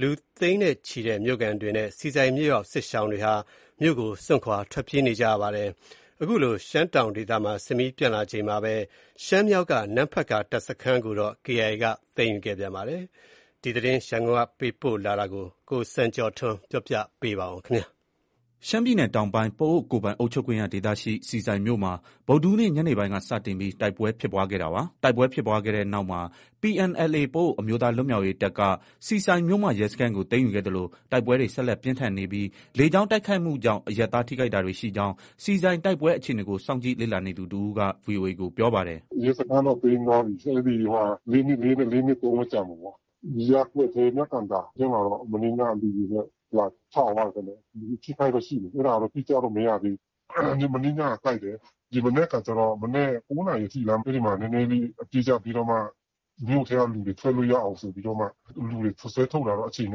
သိန်းနဲ့ချီတဲ့ မြို့ခံတွေနဲ့ ဆီဆိုင်မြို့ရောက် စစ်ရှောင်တွေဟာ မြို့ကို စွန့်ခွာ ထွက်ပြေးနေကြရပါတယ်။ အခုလို ရှမ်းတောင်ဒေသမှာ စစ်မီးပျံနှံလာနေချိန်မှာပဲ ရှမ်းမြောက်က နမ့်ဖတ်ကာ တပ်စခန်းကို KIA က သိမ်းယူခဲ့ပါတယ်။ ရန်ကုန်က ပေးပို့လာတဲ့ ရှမ်းပြည်နယ်အတွင်းက လက်ရှိ ဖြစ်ပွားနေတဲ့ တိုက်ပွဲသတင်းတွေကို ကိုစံကျော်က တင်ပြထားပါတယ်။ ရှမ်းပြည်နယ်တောင်ပိုင်း ပအိုဝ်းကိုယ်ပိုင်အုပ်ချုပ်ခွင့်ရဒေသရှိ ဆီဆိုင်မြို့မှာ ဗုဒ္ဓဟူးနေ့ ညနေပိုင်းက စတင်ပြီး တိုက်ပွဲဖြစ်ပွားခဲ့တာပါ။ တိုက်ပွဲဖြစ်ပွားခဲ့တဲ့နောက်မှာ PNLA ပအိုဝ်းအမျိုးသားလွတ်မြောက်ရေးတပ်က ဆီဆိုင်မြို့မ ရဲစခန်းကို သိမ်းယူခဲ့သလို တိုက်ပွဲတွေ ဆက်လက်ပြင်းထန်နေပြီး လေကြောင်းတိုက်ခိုက်မှုကြောင့် အရပ်သား ထိခိုက်တာတွေရှိကြောင်း ဆီဆိုင်တိုက်ပွဲအခြေအနေကို စောင့်ကြည့်လေ့လာနေသူ တဦးက VOA ကို ပြောပါတယ်။ “ ရဲစခန်းတော့ သိမ်းသွားပြီ။ အဲဒီမှာ ၄၂၃နဲ့ ၄၂၄ ပဲ ကျန်မှာပေါ့။ ရပ်ကွက်ထဲ မြကန်သာထဲမှာတော့ မနေ့ညက လေယာဉ်နဲ့ လာချသွားတာပေါ့။ လူအထိအခိုက်တော့ ရှိမယ် အဲဒါတော့ အတိအကျတော့ မရသေးဘူး။ မနေ့ညက တိုက်တယ်။ ဒီမနက်ခါကျ ၉နာရီထိလား၊ အဲဒီမှာ နည်းနည်းလေး အပစ်ရပ်ပြီးတော့မှ မြို့ထဲက လူတွေ ထွက်လို့ ရအောင်ဆိုပြီးတော့မှ လူတွေ ဆွဲထုတ်တာတော့ အချိန်န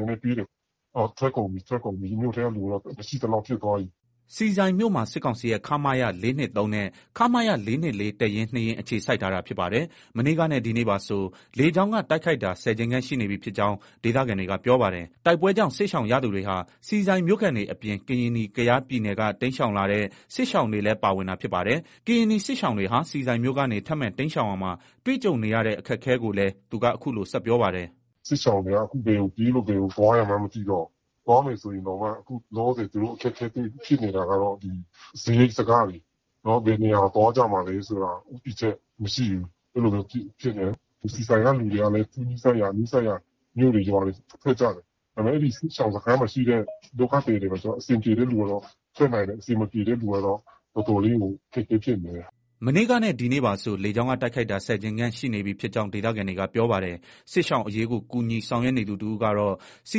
ည်းနည်းပေးတယ်။ ထွက်ကုန်ပြီ မြို့ထဲကလူတော့ မရှိသလောက်ဖြစ်သွားပြီ။” ဆီဆိုင်မြို့မှာ စစ်ကောင်စီရဲ့ ခမရ ၄၂၃ နဲ့ ခမရ ၄၂၄ တပ်ရင်း ၂ရင်းအခြေစိုက်ထားတာဖြစ်ပါတယ်။ မနေ့ကနဲ့ ဒီနေ့ပါဆို လေကြောင်းက တိုက်ခိုက်တာ ၁၀ကြိမ်ခန့်ရှိနေပြီ ဖြစ်ကြောင်း ဒေသခံတွေက ပြောပါတယ်။ တိုက်ပွဲကြောင့် စစ်ရှောင်ရသူတွေဟာ ဆီဆိုင်မြို့ခံတွေအပြင် ကရင်နီ(ကယား) ပြည်နယ်က တိမ်းရှောင်လာတဲ့ စစ်ရှောင်တွေလည်း ပါဝင်တာဖြစ်ပါတယ်။ ကရင်နီစစ်ရှောင်တွေဟာ ဆီဆိုင်မြို့ကနေ ထပ်မံတိမ်းရှောင်ရာမှာ တွေ့ကြုံနေရတဲ့ အခက်အခဲကိုလည်း သူက အခုလို ဆက်ပြောပါတယ်။ “ စစ်ရှောင်တွေက အခု ဘယ်ကိုပြေးလို့ ဘယ်ကို သွားရမှန်း မသိတော့ဘူး။ သွားမယ်ဆိုရင်တောင်မှာ အခုလောလောဆည် သူတို့ အခက်အခဲဖြစ်နေတာက ဒီ စားရိတ်စားခ တွေ။ ဘယ်နေရာကို သွားကြမှာလည်း ဆိုတာ ဦးတည်ချက် မရှိဘူးဖြစ်နေတာ။ ဆီဆိုင်က လူတွေက သူ့နီးစပ်ရာ နီးစပ်ရာ မြို့တွေ ရွာတွေ ထွက်ကြတာ။ စစ်ရှောင်စခန်းမှာရှိတဲ့ ဒုက္ခသည်တွေက ကျတော့ အဆင်ပြေတဲ့သူတွေက ထွက်နိုင်တယ်။ အဆင်မပြေတဲ့ သူတွေက ကျတော့ တော်တော်လေးကို အခက်အခဲဖြစ်နေတယ်။ ” မနေ့ကနဲ့ ဒီနေ့ပါဆို လေကြောင်းက တိုက်ခိုက်တာ ၁၀ကြိမ်ခန့်ရှိနေပြီ ဖြစ်ကြောင်း ဒေသခံတွေက ပြောပါတယ်။ စစ်ရှောင်အရေးကို ကူညီဆောင်ရွက်နေသူတဦးကတော့ ဆီ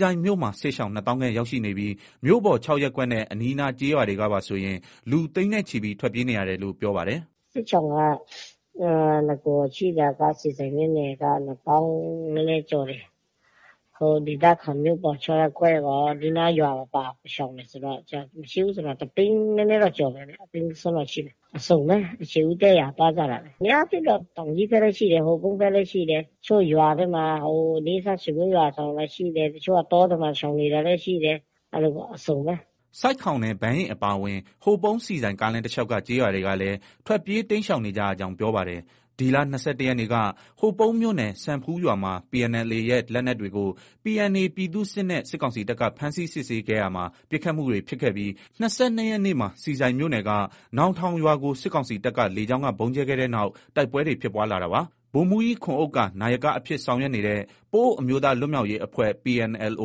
ဆိုင်မြို့မှာ စစ်ရှောင် ၂သောင်းခန့် ရောက်ရှိနေပြီး မြို့ပေါ် ၆ရပ်ကွက်နဲ့ အနီးအနားရွာတွေကပါဆိုရင် လူ သိန်းနဲ့ချီပြီး ထွက်ပြေးနေရတယ်လို့ ပြောပါတယ်။ “ စစ်ရှောင်က နဂိုရှိတာက ဆီဆိုင်မြို့နယ်က ၂သောင်း နည်းနည်းကျော်တယ်။ ဟို ဒေသခံ မြို့ပေါ် ၆ရပ်ကွက်ရော၊ အနီးအနားရွာတွေပါ ရှောင်တယ်ဆိုတော့ မရှိဘူးဆို တသိန်းနည်းနည်းတော့ ကျော်မယ်ဗျ။ တသိန်း စွန်းစွန်းတော့ရှိမယ်။ အစုံပဲ ခြေဦးတည့်ရာ သွားကြတာပဲ။ အများအားဖြင့်တော့ တောင်ကြီးဘက်လည်းရှိတယ်။ ဟိုပုန်းဘက်လည်းရှိတယ်။ တချို့ ရွာဘက်မှာ နီးစပ်ရာဆွေမျိုးရွာရှောင်တာလည်း ရှိတယ်။ တချို့က တောထဲမှာ ရှောင်နေတာလည်း ရှိတယ်။ အဲလိုပေါ့ အစုံပဲ။ ” ဆိုက်ခေါင်နဲ့ ဘန်းယဉ်အပါအဝင် ဟိုပုန်း- ဆီဆိုင်ကားလမ်းတလျောက်က ကျေးရွာတွေလည်း ထွက်ပြေးတိမ်းရှောင်နေကြကြောင်း ပြောပါတယ်။ ဒီလ ၂၁ရက်နေ့က ဟိုပုန်းမြို့နယ် စံဖူးရွာမှာ PNLA ရဲ့ လက်နက်တွေကို PNA ပြည်သူ့စစ်နဲ့ စစ်ကောင်စီတပ်က ဖမ်းဆီးစစ်ဆေးခဲ့ရာမှာ ပစ်ခတ်မှုတွေဖြစ်ခဲ့ပြီး ၂၂ရက်နေ့မှာ ဆီဆိုင်မြို့နယ်က နောင်ထောဝ်ရွာကို စစ်ကောင်စီတပ်က လေကြောင်းက ဗုံးကြဲခဲ့တဲ့နောက် တိုက်ပွဲတွေ ဖြစ်ပွားလာတာပါ။ ဗိုလ်မှူးကြီး ခွန်ဥက္ကာ နာယက အဖြစ်ဆောင်ရွက်နေတဲ့ ပအိုဝ်းအမျိုးသားလွတ်မြောက်ရေးအဖွဲ့ PNLO/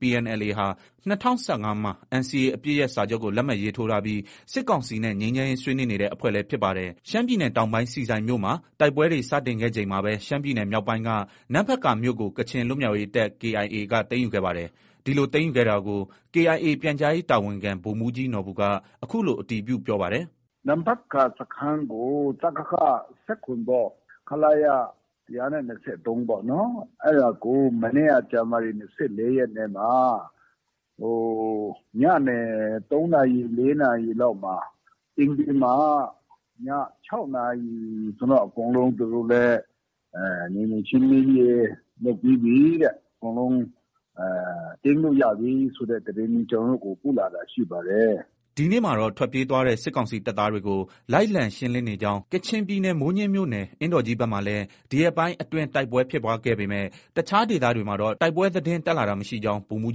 PNLA ဟာ ၂၀၁၅မှာ NCA အပစ်ရပ်စာချုပ်ကို လက်မှတ်ရေးထိုးထားပြီး စစ်ကောင်စီနဲ့ ငြိမ်းချမ်းရေးဆွေးနွေးနေတဲ့ အဖွဲ့လည်း ဖြစ်ပါတယ်။ ရှမ်းပြည်နယ်တောင်ပိုင်း ဆီဆိုင်မြို့မှာ တိုက်ပွဲတွေ စတင်ခဲ့ချိန်မှာပဲ ရှမ်းပြည်နယ်မြောက်ပိုင်းက နမ့်ဖတ်ကာမြို့ကို ကချင်လွတ်မြောက်ရေးတပ် KIA က သိမ်းယူခဲ့ပါတယ်။ ဒီလို သိမ်းယူခဲ့တာကို KIA ပြန်ကြားရေးတာဝန်ခံ ဗိုလ်မှုးကြီးနော်ဘူက အခုလို အတည်ပြု ပြောပါတယ်။ “ နမ့်ဖတ်ကာ စခန်းကို စကခ ၁၇ ပေါ့။ ခလရ ၁၂၃ ပေါ့နော်။ အဲဒါကို မနေ့က ဇန်နဝါရီ ၂၄ရက်နေ့မှာ ညနေ ၃နာရီ၊ ၄နာရီလောက်မှာ သိမ်းပြီးမှ ည ၆နာရီလောက်မှာ အကုန်လုံး သူတို့လည်း နယ်မြေရှင်းလင်းရေး လုပ်ပြီးပြီတဲ့။ အကုန်လုံး သိမ်းလို့ ရပြီဆိုတဲ့သတင်း ကျနော်တို့ကို ပို့လာတာရှိပါတယ်။ ” ဒီနေ့မှာတော့ ထွက်ပြေးသွားတဲ့ စစ်ကောင်စီတပ်သားတွေကို လိုက်လံ ရှင်းလင်းနေကြောင်း ကချင်ပြည်နယ် မိုးညှင်းမြို့နယ် အင်းတော်ကြီးဘက်မှာလည်း ဒီရက်ပိုင်းအတွင်း တိုက်ပွဲဖြစ်ပွားခဲ့ပေမဲ့ တခြားဒေသတွေမှာတော့ တိုက်ပွဲသတင်း တက်လာတာမရှိကြောင်း ဗိုလ်မှုး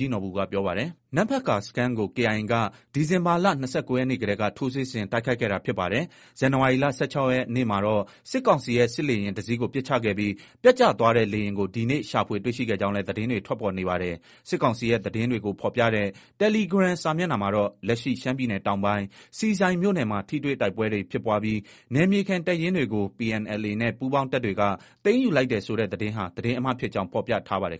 ကြီးနော်ဘူက ပြောပါတယ်။ နမ့်ဖတ်ကာစခန်းကို KIA က ဒီဇင်ဘာလ ၂၉ရက်နေ့တည်းက ထိုးစစ်ဆင် တိုက်ခိုက်ခဲ့တာဖြစ်ပါတယ်။ ဇန်နဝါရီလ ၁၆ရက်နေ့မှာတော့ စစ်ကောင်စီရဲ့ စစ်လေယာဉ်တစီးကို ပစ်ချခဲ့ပြီး ပျက်ကျသွားတဲ့လေယာဉ်ကို ဒီနေ့ ရှာဖွေတွေ့ရှိကြောင်းလည်း သတင်းတွေ ထွက်ပေါ်နေပါတယ်။ စစ်ကောင်စီရဲ့ သတင်းတွေကို ဖော်ပြတဲ့ တယ်လီဂရမ်စာမျက်နှာမှာတော့ လက်ရှိ ရှမ်းပြည်နယ် တောင်ပိုင်း ဆီဆိုင်မြို့နယ်မှာ ထိတွေ့တိုက်ပွဲတွေဖြစ်ပွားပြီး နယ်မြေခံတပ်ရင်းတွေကို PNLA နဲ့ ပူးပေါင်းတပ်တွေက သိမ်းယူလိုက်တယ်ဆိုတဲ့သတင်းဟာ သတင်းအမှားဖြစ်ကြောင်း ဖော်ပြထားပါတယ်